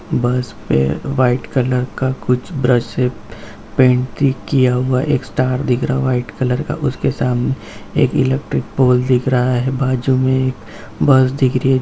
बस पे white colour का कुछ ब्रश से पेंटिंग किया हुआ है एक स्टार दिख रहा है वाइट कलर का सामने एक इलेक्ट्रिक पॉल दिख रहा है बाजु में एक बस दिख रही है।